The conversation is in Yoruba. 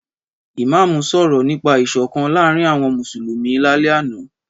Ìmámù sọ̀rọ̀ nípa ìsọ̀kan láàrín àwon mùsùlùmì lálẹ́ àná.